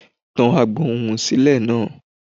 Tẹ agbohùn sílẹ̀ náà!